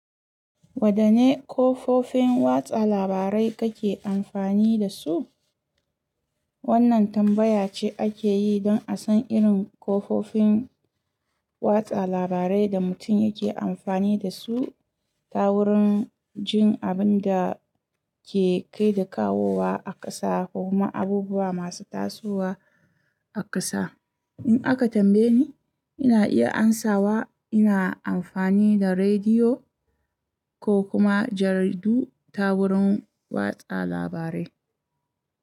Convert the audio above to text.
Wadanne kafofin watsa labarai kake amfani da su? Wannan tambaya ce ake yi don a san irin kafofin watsa labarai da mutum yake amfani da su ta wurin jin abin da ke kai da kawowa a ƙasa ko kuma abubuwa masu tasowa a ƙasa. In aka tambaye ni, ina iya amsawa ina amfani da rediyo ko kuma jaridu ta wurin watsa labarai.